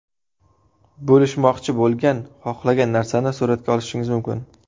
Bo‘lishmoqchi bo‘lgan xohlagan narsani suratga olishingiz mumkin.